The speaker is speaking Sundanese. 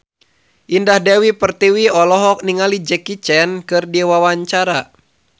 Indah Dewi Pertiwi olohok ningali Jackie Chan keur diwawancara